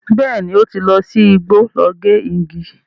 Bẹ́ẹ̀ni, ó ti lọ sí igbó lọ gé igi.